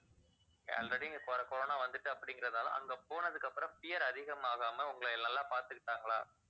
already இங்க co~ corona வந்துருச்சு அப்படிங்கறதனால அங்க போனதுக்கு அப்புறம் fear அதிகமாகாமா உங்களை நல்லா பாத்துக்கிட்டாங்களா